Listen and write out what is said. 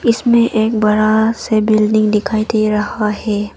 इसमें एक बड़ा सा बिल्डिंग दिखाई दे रहा है।